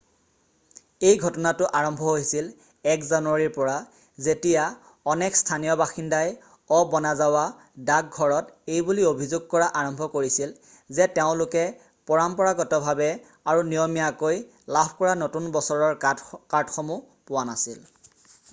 এই ঘটনাটো আৰম্ভ হৈছিল 1 জানুৱাৰীৰ পৰা যেতিয়া অনেক স্থানীয় বাসিন্দাই অ'বনাজাৱা ডাক ঘৰত এইবুলি অভিযোগ কৰা আৰম্ভ কৰিছিল যে তেওঁলোকে পৰম্পৰাগতভাৱে আৰু নিয়মীয়াকৈ লাভ কৰা নতুন বছৰৰ কাৰ্ডসমূহ পোৱা নাছিল